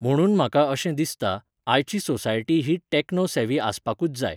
म्हणून म्हाका अशें दिसता, आयची सोसायटी ही टॅक्नो सेवी आसपाकूच जाय.